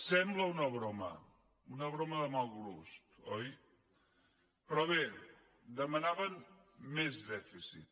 sembla una broma una broma de mal gust oi però bé demanaven més dèficit